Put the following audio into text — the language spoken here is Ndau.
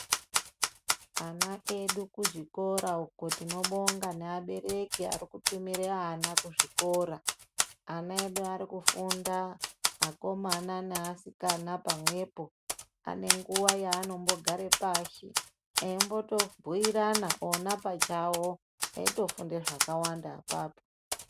Ana edu kuzvikora uko, tinobonga neabereki ari kutumira ana kuzvikora. Ana edu ari kufunda, akomana naasikana pamwepo. Pane nguwa yaanombo gare pashi eimboto bhuirana ona pachawo, eitofunda zvakawanda apapo.